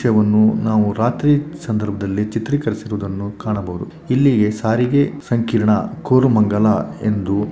E ದೃಶ್ಯವನ್ನು ನಾವು ರಾತ್ರಿ ಸಂದರ್ಭದಲ್ಲಿ ಚಿತ್ರೀಕರಿಸಿರುವುದನ್ನು ಕಾಣಬಹುದು. ಇಲ್ಲಿಗೆ ಸಾರಿಗೆ ಸಂಕೀರ್ಣ ಕೋರಮಂಗಲ ಎಂದು ಕೆಂಪು